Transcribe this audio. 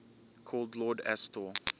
called lord astor